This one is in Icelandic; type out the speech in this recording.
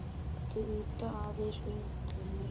Viltu ýta aðeins undir hana?